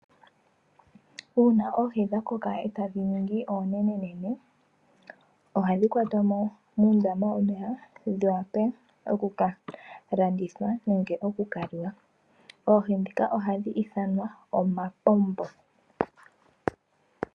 Uuna oohi dha koka etadhi ningi oonene ohadhi kwatwamo muundama womeya dhi wape oku ka landithwa nenge oku ka liwa oohi ndhika ohadhi ithanwa omapombo.